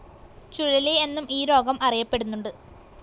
ചുഴലി എന്നും ഈ രോഗം അറിയപ്പെടുന്നുണ്ട്.